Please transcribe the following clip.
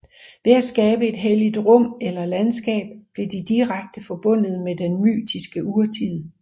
Ved at skabe et helligt rum eller landskab blev de direkte forbundet med den mytiske urtid